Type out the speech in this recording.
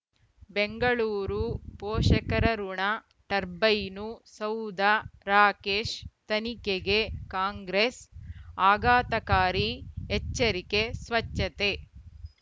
ಬೆಂಗಳೂರು ಪೋಷಕರಋಣ ಟರ್ಬೈನು ಸೌಧ ರಾಕೇಶ್ ತನಿಖೆಗೆ ಕಾಂಗ್ರೆಸ್ ಆಘಾತಕಾರಿ ಎಚ್ಚರಿಕೆ ಸ್ವಚ್ಛತೆ